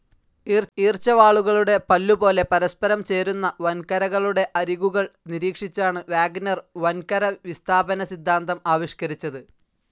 ഈർച്ചവാളുകളുടെ പല്ലുപോലെ പരസ്പരം ചേരുന്ന വൻകരകളുടെ അരികുകൾ നിരീക്ഷിച്ചാണ് വാഗ്നർ വൻകര വിസ്താപനസിദ്ധാന്തം ആവിഷ്ക്കരിച്ചത്.